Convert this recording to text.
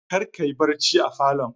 Kar kayi barci a falon